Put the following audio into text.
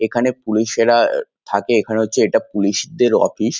এখানে পুলিশেরা আ থাকে। এখানে হচ্ছে এটা পুলিশদের অফিস ।